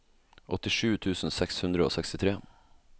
åttisju tusen seks hundre og sekstitre